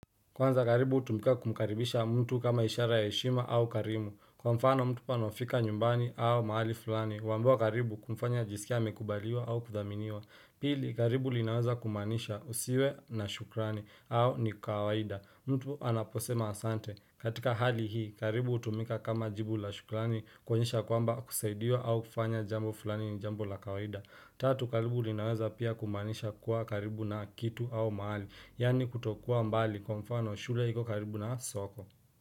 Kwanza karibu hutumika kumkaribisha mtu kama ishara ya heshima au karimu. Kwa mfano mtu anaofika nyumbani au mahali fulani. Wambiwa karibu kumfanya ajisikie amekubaliwa au kuthaminiwa. Pili karibu linaweza kumaanisha usiwe na shukrani au ni kawaida. Mtu anaposema asante. Katika hali hii karibu utumika kama jibu la shukrani koenyesha yaa kwamba kusaidiwa au kufanya jambo fulani ni jambo la kawaida. Tatu karibu linaweza pia kumaanisha kuwa karibu na kitu au mahali. Yani kutokuwa mbali kwa mfano shule iko karibu na soko.